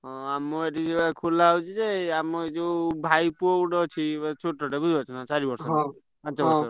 ହଁ ଆମ ଏଠି ଏ ଖୋଲା ହଉଛି ଯେ ଆମ ଆଉ ଯୋଉ ଭାଇ ପୁଅ ଗୋଟେ ଅଛି ଛୋଟ ଟା ଚାରି ପାଞ୍ଚ ବର୍ଷ ।